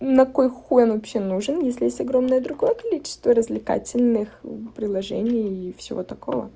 на кой хуй вообще нужен если есть огромное другое количество развлекательных приложений и всего такого